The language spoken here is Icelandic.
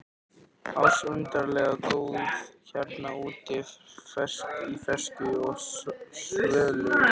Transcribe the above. ars undarlega góð hérna úti í fersku og svölu loftinu.